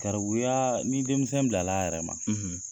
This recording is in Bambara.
Garabuyaa ni denmisɛn bilal'a yɛrɛ ma